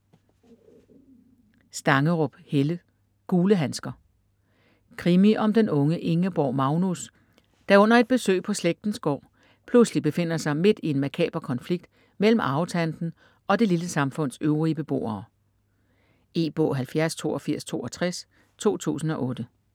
Stangerup, Helle: Gule handsker Krimi om den unge Ingeborg Magnus, der under et besøg på slægtens gård, pludselig befinder sig midt i en makaber konflikt mellem arvetanten og det lille samfunds øvrige beboere. E-bog 708262 2008.